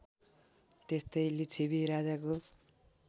त्यस्तै लिच्छवि राजाको